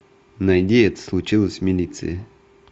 найди это случилось в милиции